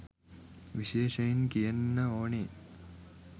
විශේෂයෙන් කියන්න ඕනෙ